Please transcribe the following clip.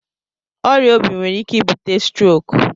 Ọrịa obi nwere ike ibute strok.